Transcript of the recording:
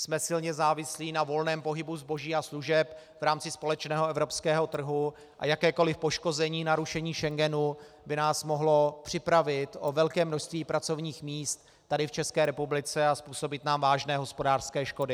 Jsme silně závislí na volném pohybu zboží a služeb v rámci společného evropského trhu a jakékoliv poškození, narušení Schengenu by nás mohlo připravit o velké množství pracovních míst tady v České republice a způsobit nám vážné hospodářské škody.